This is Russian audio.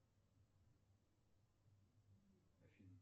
афина